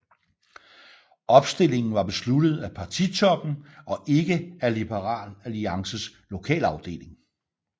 Opstillingen var besluttet af partitoppen og ikke af Liberal Alliances lokalafdeling